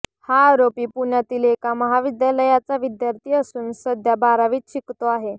हा आरोपी पुण्यातील एका महाविद्यालयाचा विद्यार्थी असून सध्या बारावीत शिकतो आहे